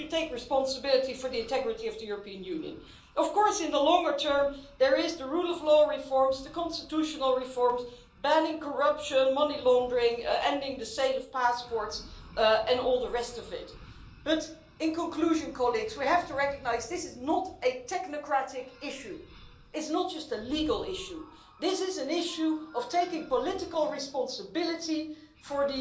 They should take responsibility for the integrity of the European Union. Of course, in the longer term, there is the rule of law reforms, the constitutional reforms, banning corruption, money laundering, ending the sale of passports and all the rest of it, but, in conclusion, we have to recognise that this is not a technocratic issue, nor is it just a legal issue this is an issue of taking political responsibility for